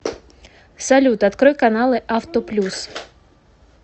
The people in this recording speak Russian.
салют открой каналы авто плюс